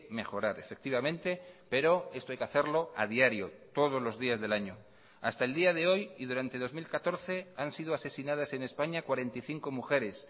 mejorar efectivamente pero esto hay que hacerlo a diario todos los días del año hasta el día de hoy y durante dos mil catorce han sido asesinadas en españa cuarenta y cinco mujeres